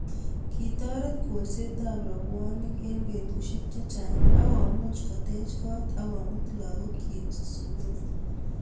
kitoret kolsetab robwoniek eng betusiek chechang ak komuch koteech koot ak komut lakokchech sukul